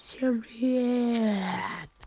всем привет